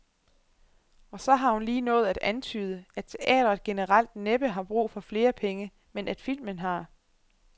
Og så har hun lige nået at antyde, at teatret generelt næppe har brug for flere penge, men at filmen har.